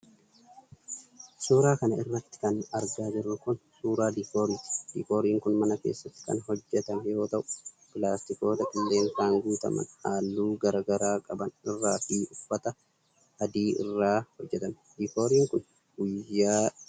Suura kana irratti kan argaa jirru kun ,suura diikooriiti. Diikkooriin kun mana keessatti kan hojjatame yoo ta'u ,pilaastikoota qilleensaan guutaman haalluu garaa garaa qaban irraa fi uffata adii irraa hojjatame. Diikooriin kun, guyyaa dhaloota daa'imaa kabajuuf tolfame.